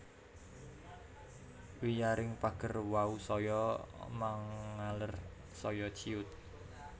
Wiyaring pager wau saya mangaler saya ciyut